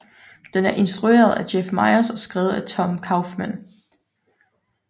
Den er instrueret af Jeff Myers og skrevet af Tom Kauffman